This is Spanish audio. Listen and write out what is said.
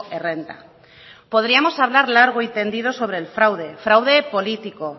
errenta podríamos hablar largo y tendido sobre el fraude fraude político